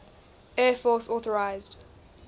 air force authorised